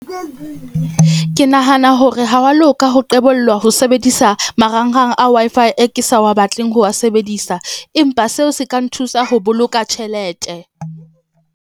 Ke nahana hore ha wa loka ho ho sebedisa marangrang a Wi-Fi e ke sa wa batleng ho wa sebedisa, empa seo se ka nthusa ho boloka tjhelete.